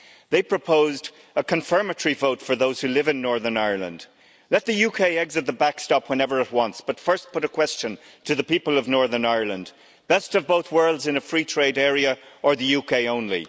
They proposed a confirmatory vote for those who live in Northern Ireland let the UK exit the backstop whenever it wants but first put a question to the people of Northern Ireland best of both worlds in a free trade area or the UK only?